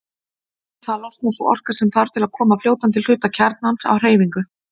Við það losnar sú orka sem þarf til að koma fljótandi hluta kjarnans á hreyfingu.